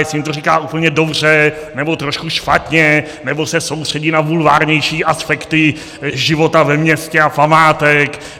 Jestli jim to říká úplně dobře, nebo trošku špatně, nebo se soustředí na bulvárnější aspekty života ve městě a památek?